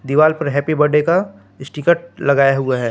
दीवाल पर happy birthday का स्टीकर लगाया हुआ है।